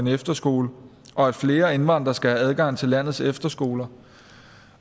efterskole og at flere indvandrere skal have adgang til landets efterskoler